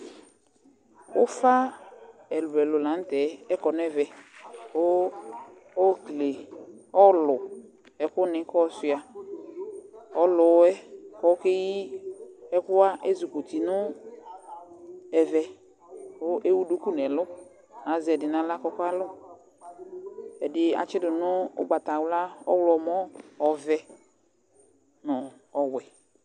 Ʊfa ɛlʊɛlʊ lanʊtɛ ɔkɔ nɛvɛ ku okele ɔlʊ kʊnʊ kɔsua Ɔlʊyɛ kɔkeyɩ ɛkʊwa ezikutɩ nɛvɛ kuewʊ dʊkʊ nɛlʊ Aeɛdɩ nawla kɔkalʊ Ɛdɩ atsɩdu ʊgbatawla, ɔvɛ, ɔwlɔmɔ nʊ pwɛ